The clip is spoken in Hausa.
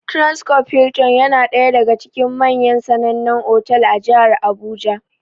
Transcob Hilton ya na ɗaya daga cikin manyan sanannan otal a jihar Abuja.